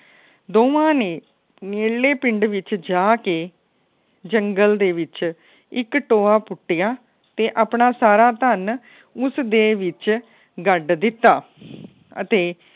ਦੋਵਾਂ ਨੇ ਨੇੜਲੇ ਪਿੰਡ ਜਾ ਕੇ ਜੰਗਲ ਦੇ ਵਿੱਚ ਇੱਕ ਟੋਆ ਪੁਟਿਆ ਤੇ ਅਪਣਾਂ ਸਾਰਾ ਧੰਨ ਉਸ ਦੇ ਵਿੱਚ ਗੱਡ ਦਿਤਾ। ਅਤੇ